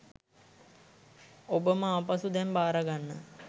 ඔබම ආපසු දැන් බාරගන්න